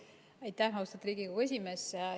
Aitäh, austatud Riigikogu esimees!